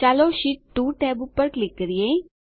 ચાલો sheet 2 tab પર click કરીએ